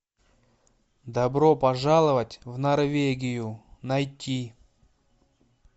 добро пожаловать в норвегию найти